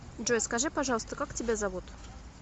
джой скажи пожалуйста как тебя зовут